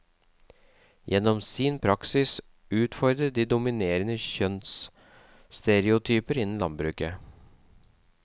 Gjennom sin praksis utfordrer de dominerende kjønnsstereotyper innen landbruket.